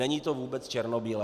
Není to vůbec černobílé.